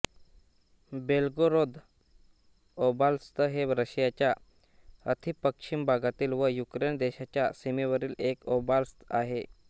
Belgorod oblast हे रशियाच्या अतिपश्चिम भागातील व युक्रेन देशाच्या सीमेवरील एक ओब्लास्त आहे